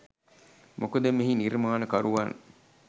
මොකද මෙහි නිර්මාණකරුවන්